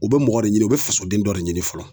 U bɛ mɔgɔ de ɲini u bɛ fasoden dɔ de ɲini fɔlɔ.